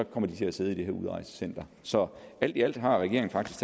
kommer til at sidde i det her udrejsecenter så alt i alt har regeringen faktisk